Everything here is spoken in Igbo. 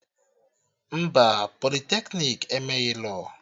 Mba, politeknik emeghị lọọ